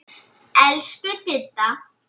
Elsku Didda.